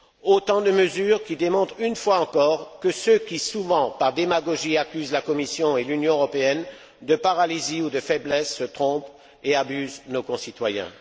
Autant de mesures qui démontrent une fois encore que ceux qui accusent, souvent par démagogie, la Commission et l'Union européenne de paralysie ou de faiblesse se trompent et abusent nos concitoyens.